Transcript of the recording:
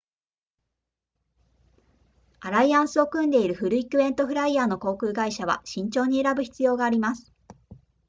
アライアンスを組んでいるフリークエントフライヤーの航空会社は慎重に選ぶ必要があります